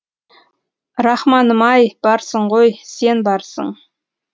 рахманым ай барсың ғой сен барсың